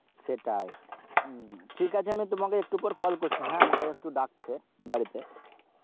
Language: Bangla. সেটাই উম ঠিক আছে, আমি তোমাকে একটু পর call করছি হ্যাঁ, আমাকে একটু ডাকছে বাড়িতে